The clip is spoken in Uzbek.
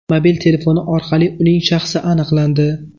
Mobil telefoni orqali uning shaxsi aniqlandi.